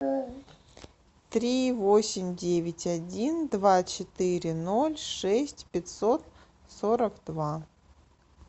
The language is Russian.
три восемь девять один два четыре ноль шесть пятьсот сорок два